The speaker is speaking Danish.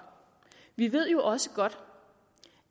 vi ved jo også godt